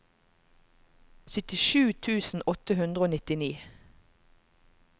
syttisju tusen åtte hundre og nittini